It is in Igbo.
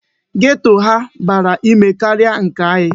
Geto ha bara n'ime karịa nke anyị.